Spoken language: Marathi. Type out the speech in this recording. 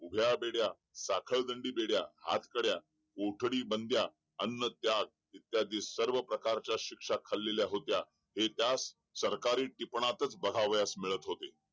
उभ्या बेड्या साखळदंडी बेड्या हातकड्या कोठडी बंदया अन्न त्याग इत्यादी सर्व प्रकारच्या शिक्षा खालेल्या होत्या हे त्यास सरकारी टिपणास बघायवयास मिळत होते